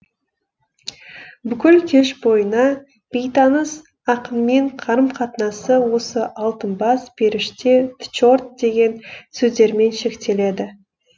бүкіл кеш бойына бейтаныс ақынмен қарым қатынасы осы алтын бас періште тчорт деген сөздермен шектеледі